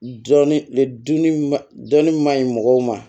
Dɔnni dɔnni ma ɲi mɔgɔw ma